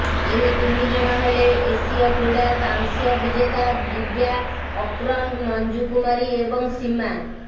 ଏହି ତିନି ଜଣ ହେଲେ ଏସୀୟ କ୍ରୀଡ଼ା କାଂସ୍ୟ ବିଜେତା ଦିବ୍ୟା କକ୍ରନ୍ ମଞ୍ଜୁ କୁମାରୀ ଏବଂ ସୀମା